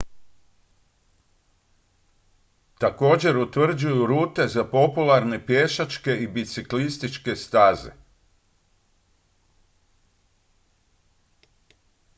također utvrđuju rute za popularne pješačke i biciklističke staze